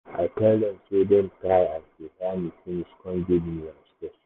i tell dem sey dem try as dey hear me finish kon give me my space.